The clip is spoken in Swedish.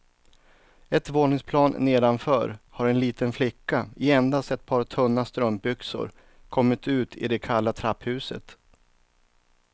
Ett våningsplan nedanför har en liten flicka i endast ett par tunna strumpbyxor kommit ut i det kalla trapphuset.